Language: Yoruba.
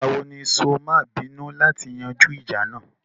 Ìgbà wo ní sọ má à bínú láti yanjú ìjà náà?